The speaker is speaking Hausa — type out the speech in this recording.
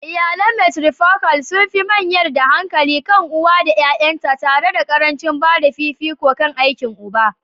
Iyalan matrifocal sun fi mayar da hankali kan uwa da ƴaƴanta, tare da ƙarancin ba da fifiko kan aikin uba.